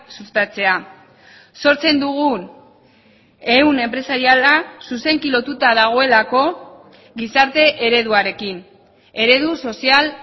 sustatzea sortzen dugun ehun enpresariala zuzenki lotuta dagoelako gizarte ereduarekin eredu sozial